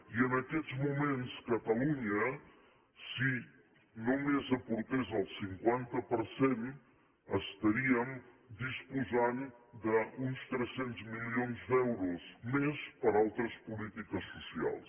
i en aquests moments catalunya si només aportés el cinquanta per cent estaríem disposant d’uns tres cents milions d’euros més per a altres polítiques socials